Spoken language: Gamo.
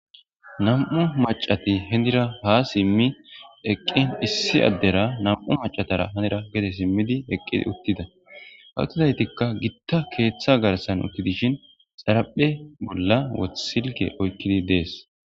Nam'u macati hinira ha simi eqin issi adera nam'u macatara ha gede simidi eqidi uthida athidaytika gita keetha garsan uthidi dishin zaraphe bola silke oykidi de'es.